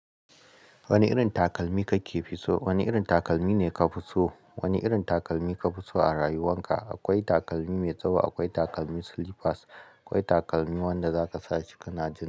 Wani irin takalmi kake fitso? Wani irin takalmi ne ka fi so? Wani irin takalmi ka fi so a rayuwan ka? Akwai takalmi mai tsawo, akwai takalmi slippers, akwai takalmi wanda za ka sa shi ka na ji.